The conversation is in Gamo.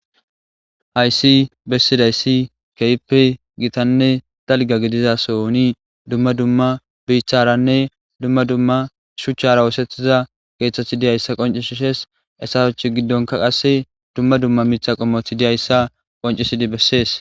hayssi bessidayssi keyppe gitanne dalga gidiza soni dumma dumma biiththaranne dumma dumma shuchchara woosethiza geeththeth diyayssa qoncishishees essasoch giddonka qasse dumma dumma miitha qommothi diyayssa qoncisidi bessees